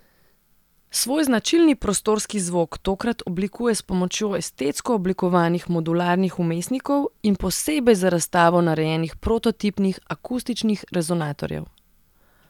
Svoj značilni prostorski zvok tokrat oblikuje s pomočjo estetsko oblikovanih modularnih vmesnikov in posebej za razstavo narejenih prototipnih akustičnih resonatorjev.